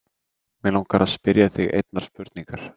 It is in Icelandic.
Mig langar til að spyrja þig einnar spurningar.